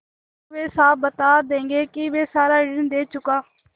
तो वे साफ बता देंगे कि मैं सारा ऋण दे चुका